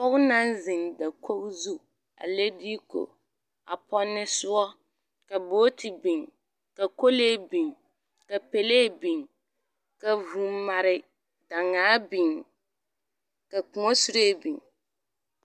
Pͻge naŋ zeŋ dakogi zu a leŋ diiku a pͻnne sõͻ ka booti biŋ, ka kolee biŋ ka pelee biŋ ka vũũ mare daŋaa biŋ ka kõͻ seree biŋ.